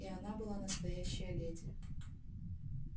и она была настоящая леди